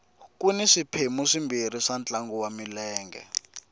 kuni swiphemu swimbirhi ka ntlangu wa milenge